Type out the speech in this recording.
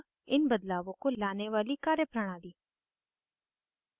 3 इन बदलावों को लाने वाली कार्यप्रणाली